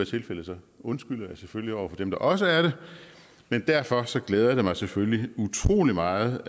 tilfældet undskylder jeg selvfølgelig over for dem der også er det men derfor glæder det mig selvfølgelig utrolig meget